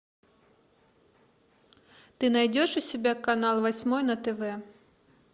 ты найдешь у себя канал восьмой на тв